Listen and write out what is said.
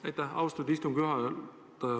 Aitäh, austatud istungi juhataja!